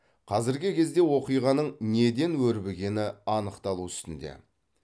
қазіргі кезде оқиғаның неден өрбігені анықталу үстінде